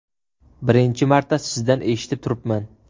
Birinchi marta sizdan eshitib turibman.